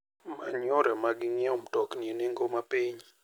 Many yore mag nyiewo mtokni e nengo mapiny.